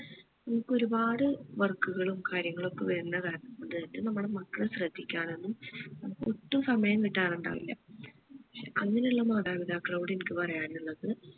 നമ്മുക് ഒരുപാട് work കളും കാര്യങ്ങളും ഒക്കെ വരുന്ന നമ്മളെ മക്കളെ ശ്രദ്ധിക്കാനൊന്നും നമ്മക്ക് ഒട്ടും സമയം കിട്ടാറുണ്ടാവില്ല ക്ഷെ അങ്ങനെ ഉള്ള മാതാപിതാക്കളോട് എനിക്ക് പറയാനുള്ളത്